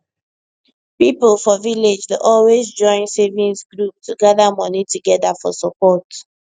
people for village dey always join savings group to gather money together for support